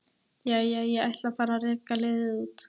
Jæja, ég ætla að fara að reka liðið út.